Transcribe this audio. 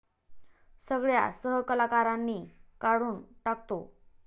सगळ्या सहकलाकारांनी काढून टाकतो.